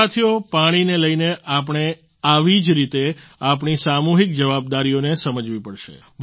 સાથીઓ પાણીને લઈને આપણે આવી જ રીતે આપણી સામૂહિક જવાબદારીઓને સમજવી પડશે